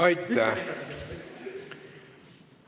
Aitäh!